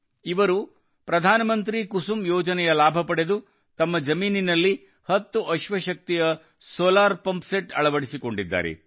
ಇವರು ಪ್ರಧಾನ ಮಂತ್ರಿ ಕುಸುಮ್ ಯೋಜನೆ ಯ ಲಾಭ ಪಡೆದು ತಮ್ಮ ಜಮೀನಿನಲ್ಲಿ ಹತ್ತು ಅಶ್ವಶಕ್ತಿಯ ಸೋಲಾರ್ ಪಂಪ್ ಸೆಟ್ ಅಳವಡಿಸಿಕೊಂಡಿದ್ದಾರೆ